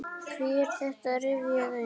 Hví er þetta rifjað upp?